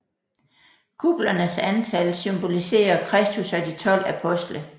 Kuplernes antal symboliserer Kristus og de 12 apostle